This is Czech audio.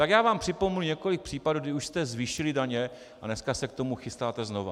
Tak já vám připomenu několik případů, kdy už jste zvýšili daně, a dneska se k tomu chystáte znova.